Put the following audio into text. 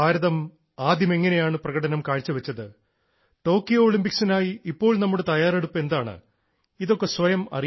ഭാരതം ആദ്യം എങ്ങനെയാണ് പ്രകടനം കാഴ്ചവെച്ചത് നമ്മുടെ ടോക്കിയോ ഒളിമ്പിക്സിനായി ഇപ്പോൾ നമ്മുടെ തയ്യാറെടുപ്പ് എന്താണ് ഇതൊക്കെ സ്വയം അറിയണം